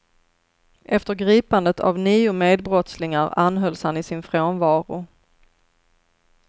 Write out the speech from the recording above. Efter gripandet av nio medbrottslingar anhölls han i sin frånvaro.